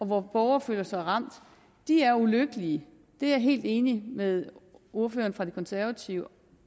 hvor borgere føler sig ramt er ulykkelige det er jeg helt enig med ordføreren for de konservative